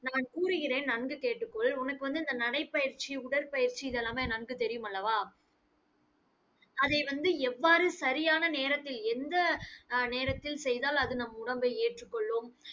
நான் கூறுகிறேன், நன்கு கேட்டுக்கொள் உனக்கு வந்து இந்த நடைப்பயிற்சி, உடற்பயிற்சி இது எல்லாமே நன்கு தெரியும் அல்லவா? அதை வந்து எவ்வாறு சரியான நேரத்தில் எந்த அஹ் நேரத்தில் செய்தால் அது நம் உடம்பை ஏற்றுக்கொள்ளும்.